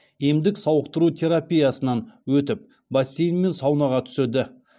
емдік сауықтыру терапиясынан өтіп бассейн мен саунаға түседі